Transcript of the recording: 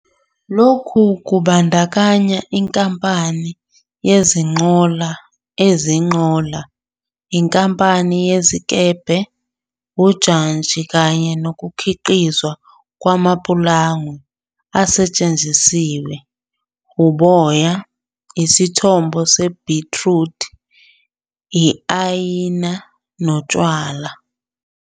Lokhu kubandakanya inkampani yezinqola ezinqola, inkampani yezikebhe, ujantshi kanye nokukhiqizwa kwamapulangwe asetshenzisiwe, uboya, isithombo sebhitrudi, i-ayina notshwala.